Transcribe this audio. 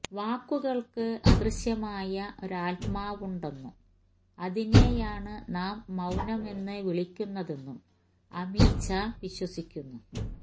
വാക്കുകള്ക്ക് അദൃശ്യമായ ഒരാത്മാവുണ്ടെന്നും അതിനെയാണ് നാം മൌനമെന്ന് വിളിക്കുന്നതെന്നും അമീച്ച വിശ്വസിക്കുന്നു